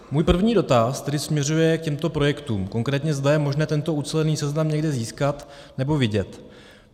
Můj první dotaz tedy směřuje k těmto projektům, konkrétně, zda je možné tento ucelený seznam někde získat nebo vidět.